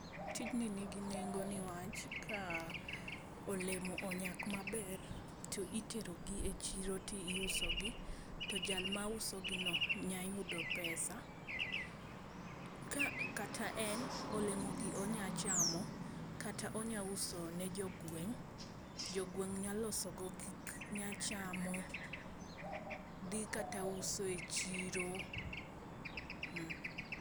Tijni nigi nengo niwach a olemo onyak maber to tero gi e chiro tio uso gi to jal mausogi no nyalo yudo pesa. Kata en olemo gi onyalo chamo kata onyalo uso ne jogweng, jogweng nyalo uso go gik, nya chamo, dhi kata usogi e chiro